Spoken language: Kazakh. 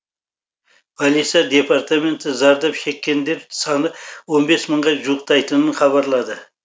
полиция департаменті зардап шеккендер саны он бес мыңға жуықтайтынын хабарлады